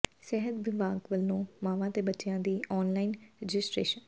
ਸਿਹਤ ਵਿਭਾਗ ਵੱਲੋਂ ਮਾਵਾਂ ਤੇ ਬੱਚਿਆਂ ਦੀ ਆਨਲਾਈਨ ਰਜਿਸਟ੍ਰੇਸ਼ਨ